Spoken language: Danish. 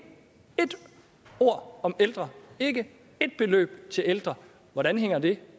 ord om ældre ikke ét beløb til ældre hvordan hænger det